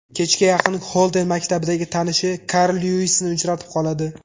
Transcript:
Kechga yaqin Xolden maktabdagi tanishi Karl Lyuisni uchratib qoladi.